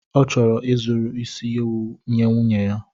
Ọ chọrọ izuru isi ewu nye nwunye ya.